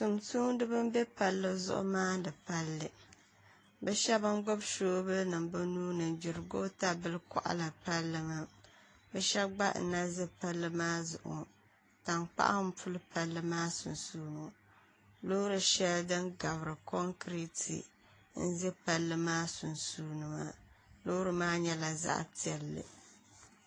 Tiŋ soŋdibi n bɛ palli zuɣu maamdi palli bi shaba n gbubi soobuli nim bi nuuni n gbiri goota bili koɣaliri palli maa bi shɛb gba n na ʒɛ palli maa zuɣu tankpaɣu n puli palli maa sunsuuni ''loori shɛli din gabiri konkirɛt n ʒɛ palli maa sunsuuni Loori maa nyɛla zaɣ piɛlli